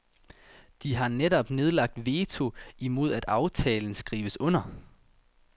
De har netop nedlagt veto imod at aftalen skrives under.